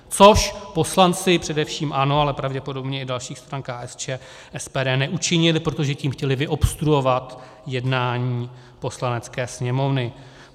Což poslanci především ANO, ale pravděpodobně i dalších stran, KSČM, SPD, neučinili, protože tím chtěli vyobstruovat jednání Poslanecké sněmovny.